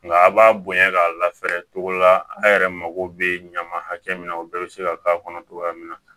Nka a b'a bonya k'a lafɛɛrɛ cogo dɔ la a' yɛrɛ mako bɛ ɲama hakɛ min na o bɛɛ bɛ se ka k'a kɔnɔ togoya min na